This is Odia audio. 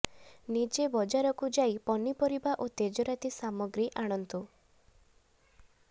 ନିଜେ ବଜାରକୁ ଯାଇ ପନିପରିବା ଓ ତେଜରାଜି ସମାଗ୍ରୀ ଆଣନ୍ତୁ